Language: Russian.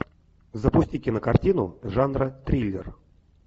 запусти кинокартину жанра триллер